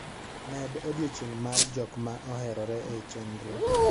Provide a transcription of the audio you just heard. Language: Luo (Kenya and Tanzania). Med odiechieng' mar jok ma oherore e chenro.